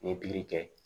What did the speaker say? N ye pikiri kɛ